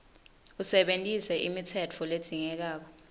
usebentise imitsetfo ledzingekako